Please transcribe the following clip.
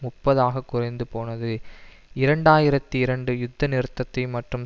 முப்பது ஆக குறைந்து போனது இரண்டு ஆயிரத்தி இரண்டு யுத்த நிறுத்தத்தையும் மற்றும்